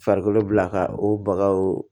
Farikolo bila ka o bagaw